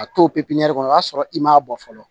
A t'o pepiɲɛri kɔnɔ i b'a sɔrɔ i m'a bɔ fɔlɔ